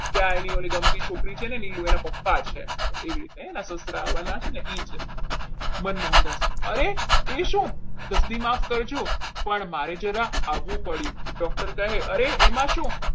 ત્યાં એને ઓલી ગમતી છોકરી છે અને નીલુ એના પપ્પા છે એવી રીતે એના સસરા આવવાના છે ને એ છે મનમોહનદાસ અરે તે શું તસ્દી માફ કરજો પણ મારી જરા આવવું પડ્યું doctor કહે અરે એમાં શું?